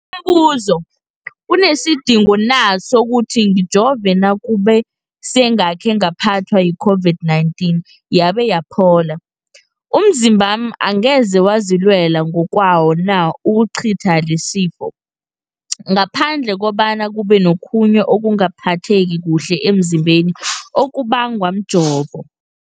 Umbuzo, kunesidingo na sokuthi ngijove nakube sengakhe ngaphathwa yi-COVID-19 yabe yaphola? Umzimbami angeze wazilwela ngokwawo na ukucitha lesisifo, ngaphandle kobana kube nokhunye ukungaphatheki kuhle emzimbeni okubangwa mjovo?